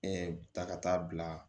ta ka taa bila